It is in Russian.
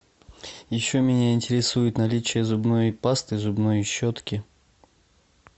еще меня интересует наличие зубной пасты зубной щетки